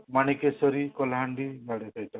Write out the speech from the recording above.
Manikeshwari Kalahandi